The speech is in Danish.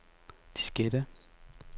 diskette